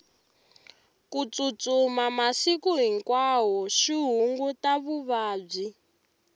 ku tsutsuma masiku hinkwawo swi hunguta vuvabyi